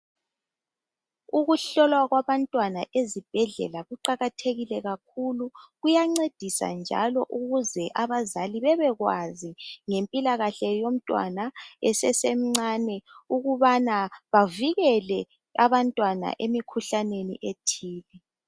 Okuhlolwa kwabantwana ezibhedlela kuqakathekile kakhulu. Kuyancedisa njalo ukuze abazali bebekwazi ngempilakahle yomntwana esesemncane ukubana bavikele abantwana emikhuhlaneni ethile.